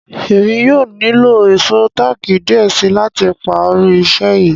Èmi yóò ní lo èṣọ̀ taki diẹ̀ sí láti pá rí iṣẹ̀ yí.